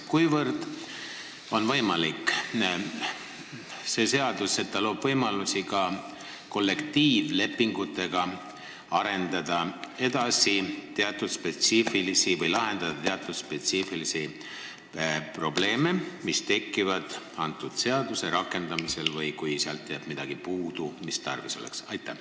Kuivõrd võimalik on, et see seadus loob võimalusi ka kollektiivlepingutega lahendada teatud spetsiifilisi probleeme, mis tekivad selle seaduse rakendamisel või siis, kui seal on midagi puudu jäänud, mida tarvis oleks?